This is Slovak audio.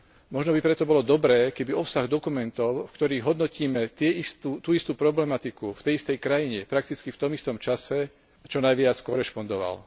Možno by preto bolo dobré, keby obsah dokumentov, v ktorých hodnotíme tú istú problematiku, v tej istej krajine, prakticky v tom istom čase, čo najviac korešpondoval.